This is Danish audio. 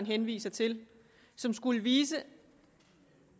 henviser til som skulle vise